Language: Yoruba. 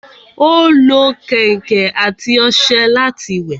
Ó lo kẹ̀ǹkẹ̀ àti ọṣẹ láti wẹ̀